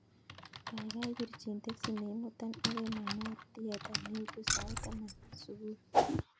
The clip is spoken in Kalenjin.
Kaikai pirchin teksi neimuton akoi manor theater neitu sait taman subui